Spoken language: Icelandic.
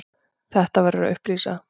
Þetta verður að upplýsa.